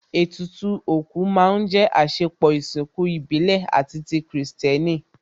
Ètùtù òkú má ń jẹ́ àsèpọ̀ ìsìnkú ìbílẹ̀ àti ti kìrìsìtẹ́nì